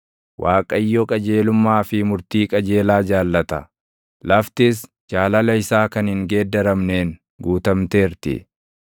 Waaqayyo qajeelummaa fi murtii qajeelaa jaallata; laftis jaalala isaa kan hin geeddaramneen guutamteerti.